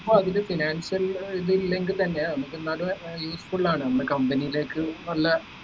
അപ്പൊ അതില് financial ഏർ ഇത് ഇല്ലെങ്കിൽ തന്നെ നമ്മക്ക് എന്നാലും ഏർ useful ആണ് നമ്മളെ company ലേക്ക് നല്ല